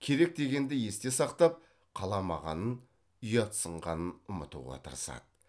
керек дегенді есте сақтап қаламағанын ұятсынғанын ұмытуға тырысады